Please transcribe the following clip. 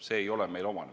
See ei ole meile omane.